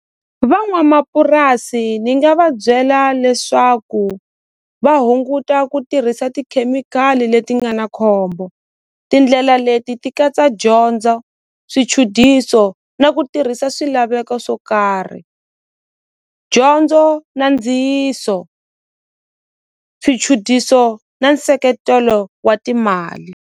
Van'wamapurasi ni nga va byela leswaku va hunguta ku tirhisa tikhemikhali leti nga na khombo tindlela leti ti katsa dyondzo swichudiso na ku tirhisa swilaveko swo karhi dyondzo na ndziyiso swichudiso na nseketelo wa timali.